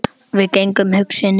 Við gengum hugsi niður